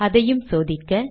அதையும் சோதிக்க